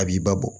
A b'i ba bɔ